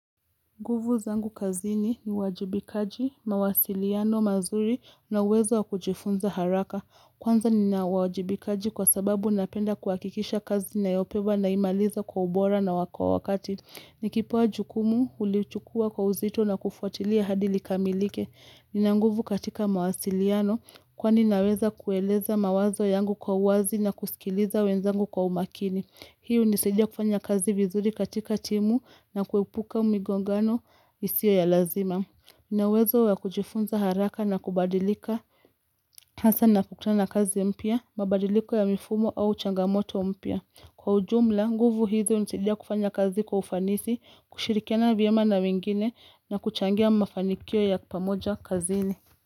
Nguvu zangu kazini ni uwajibikaji, mawasiliano, mazuri na uwezo wa kujifunza haraka. Kwanza nina uwajibikaji kwa sababu ninapenda kuhakikisha kazi ninayopewa na imaliza kwa ubora na kwa wakati. Ni kipewa jukumu hulichukua kwa uzito na kufuatilia hadi likamilike. Nina nguvu katika mawasiliano kwani naweza kueleza mawazo yangu kwa uwazi na kusikiliza wenzangu kwa umakini. Hii hunisaidia kufanya kazi vizuri katika timu na kuepuka migongano isiyo ya lazima. Ninauwezo wa kujifunza haraka na kubadilika, hasa ninapo kutana na kazi mpya, mabadiliko ya mifumo au changamoto mpya. Kwa ujumla, nguvu hizi hunisaidia kufanya kazi kwa ufanisi, kushirikiana vyema na wengine na kuchangia mafanikio ya pamoja kazini.